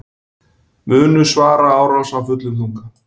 Munu svara árás af fullum þunga